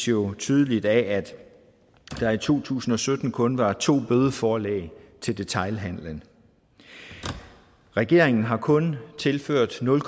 jo tydeligt af at der i to tusind og sytten kun var to bødeforelæg til detailhandelen regeringen har kun tilført nul